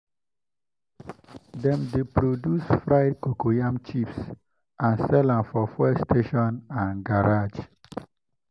dem dey produce fried cocoyam chips and sell am for fuel station and garage.